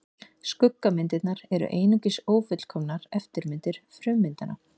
Skuggamyndirnar eru einungis ófullkomnar eftirmyndir frummyndanna.